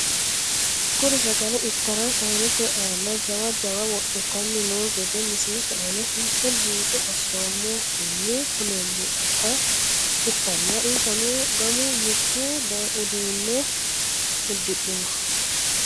Kuri sagale itara sayiinete aana jawa jawa wodhitani noo gede misilete aana seeke buuxo asomohuni kuleemoha ikanna insano gamu mittu uduune udidhino.